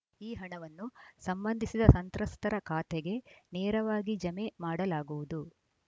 ಈ ಹಣವನ್ನು ಸಂಬಂಧಿಸಿದ ಸಂತ್ರಸ್ತರ ಖಾತೆಗೆ ನೇರವಾಗಿ ಜಮೆ ಮಾಡಲಾಗುವುದು